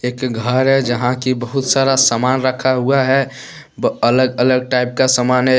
घर है जहां की बहुत सारा सामान रखा हुआ है ब अलग अलग टाइप का सामान है।